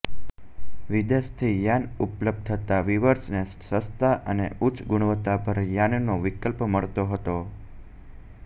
વિદેશથી યાર્ન ઉપલબ્ધ થતા વીવર્સને સસ્તા અને ઉચ્ચ ગુણવત્તાસભર યાર્નનો વિકલ્પ મળતો હતો